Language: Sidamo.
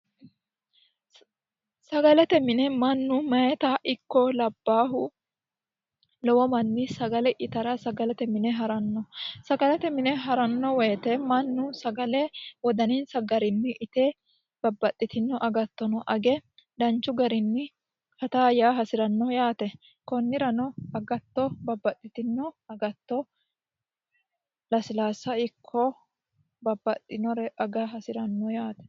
Sagalete mine mannu mayitta ikko labbahu lowo manni sagale ittara sagalete mine harano sagalete mine harano woyte mannu sagale wodanisa garinni itte babbaxitino agattono age danchu garinni fatta yaa hasirano yaate konirano babbaxitino agatto lasilasa ikko babbaxinore aga hasirano yaate.